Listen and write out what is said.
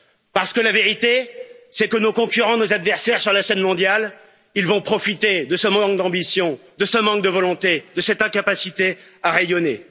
dead Parce que la vérité, c'est que nos concurrents et nos adversaires sur la scène mondiale vont profiter de ce manque d'ambition, de ce manque de volonté, de cette incapacité à rayonner.